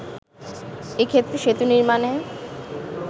এ ক্ষেত্রে সেতু নির্মাণে